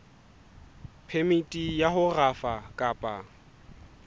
phemiti ya ho rafa kapa